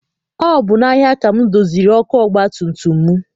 Ọ bụ n'ahia ka m doziri ọkụ ọgbatumtum m.